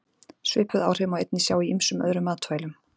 Svipuð áhrif má einnig sjá í ýmsum öðrum matvælum.